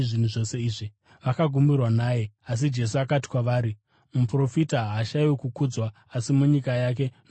Vakagumburwa naye. Asi Jesu akati kwavari, “Muprofita haashayiwi kukudzwa asi munyika yake nomumba make.”